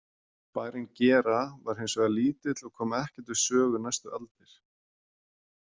Bærinn Gera var hins vegar lítill og kom ekkert við sögu næstu aldir.